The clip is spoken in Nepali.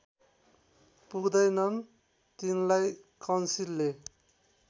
पुग्दैनन् तिनलाई काउन्सिलले